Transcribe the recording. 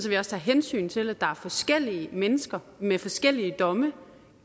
vi også tager hensyn til at der er forskellige mennesker med forskellige domme